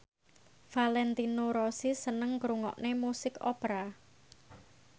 Valentino Rossi seneng ngrungokne musik opera